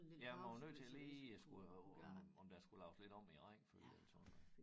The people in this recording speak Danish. Ja man var jo nødt til lige at skulle øh om om der skulle laves lidt om i æ rækkefølge eller sådan noget